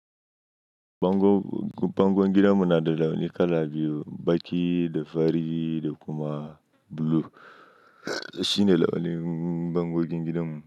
Bangon, bangon gidanmu na da launi kala biyu, baƙi da fari da kuma blue. Shine launi bangogin gidan mu.